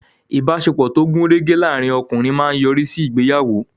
Ìbáṣepọ̀ tó gùn rẹ́gẹ́ láàrín ọkùnrin máa yọrí sí ìgbéyàwó.